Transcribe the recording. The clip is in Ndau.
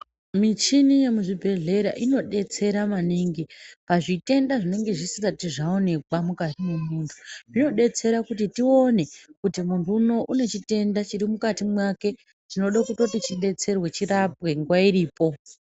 Michini yemuzvibhedhlera inodetsera maningi pazvitenda zvinenge zvisati zvaonekwa mukati memuntu zvinodetsera kuti tione kuti muntu uno une chitenda chirimukati mwake chinoda kutoti chidetserwe, chirapwe nguva iripo.